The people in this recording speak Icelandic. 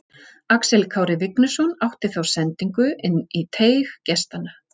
Axel Kári Vignisson átti þá sendingu inn í teig gestanna.